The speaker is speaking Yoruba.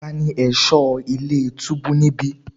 Tani ẹ̀ṣọ́ ilé túbú níbí?